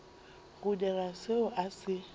go dira seo a se